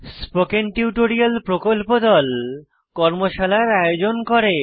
spoken tutorial প্রকল্প দল কর্মশালার আয়োজন করে